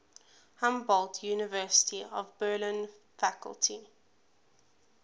humboldt university of berlin faculty